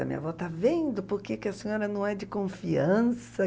A minha avó, está vendo por que a senhora não é de confiança?